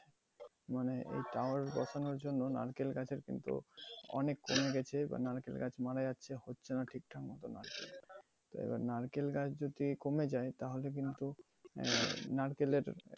মানে এই tower বসানোর জন্য নারকেল গাছের কিন্তু অনেক কমে গেছে বা নারকেল গাছ মারা যাচ্ছে, হচ্ছেনা ঠিকঠাক মতো এবার নারকেল গাছ যদি কমে যায় তাহলে কিন্তু আহ নারকেলের